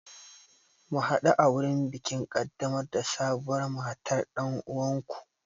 Mu hadu a wurin bikin kaddamar da sabuwar matar dan uwanku.